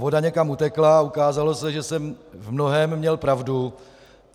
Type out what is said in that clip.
Voda někam utekla a ukázalo se, že jsem v mnohém měl pravdu.